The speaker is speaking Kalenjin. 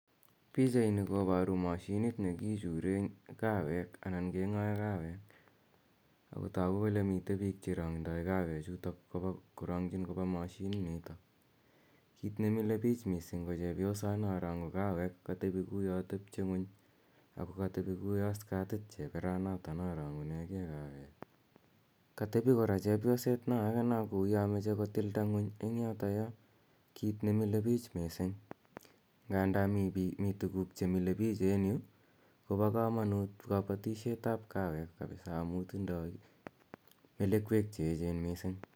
Pichaini koparu mashinit ne kichure kaweek anan keng'ae kawek. Ako tagu kole mitei piik che randai kawechutok korang'chin kopa mashininitok. Kiit ne mile pich missing' ko chepyosana rang'u kawek, katepi kouya tepche ng'uny ako katepi kouya skatit cheperana rang'une ge kawek. Katepi kora chepyoset na age no kouya mache kotilda ng'uny eng' yotayo, kiit ne mile piich missing'. Nganda mii tuguk che mile piich en yu, kopa kamanut kapisa kapatishet ap kaweek amu tindai melekwek che echen missing' .